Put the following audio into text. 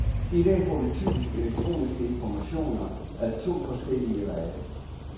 I dag får vi typisk elektroniske informationer ad to forskellige veje.